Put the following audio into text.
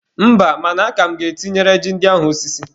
Mba, mana aka m ga-etinyere ji ndị ahụ osisi.